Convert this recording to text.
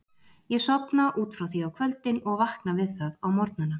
Ég sofna út frá því á kvöldin og vakna við það á morgnana.